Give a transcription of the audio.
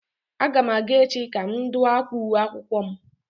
A ga m aga echi ka m dụ akwa uwe akwụkwọ m